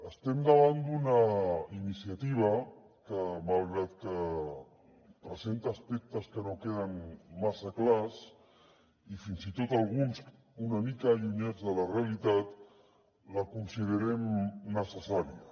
estem davant d’una iniciativa que malgrat que presenta aspectes que no queden massa clars i fins i tot alguns una mica allunyats de la realitat la considerem necessària